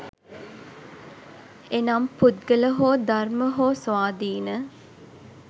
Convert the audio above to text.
එනම් පුද්ගල හෝ ධර්ම හෝ ස්වාධීන